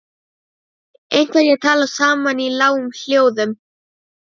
Einhverjir tala saman í lágum hljóðum.